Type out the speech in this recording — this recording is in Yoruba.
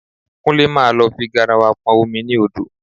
Kúnlé máa lọ fi garawa pọn omi ní odò